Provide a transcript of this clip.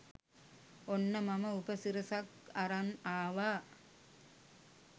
ඔන්න මම උපසිරසක් අරන් ආවා